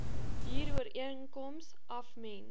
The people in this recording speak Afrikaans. huurooreenkoms af mense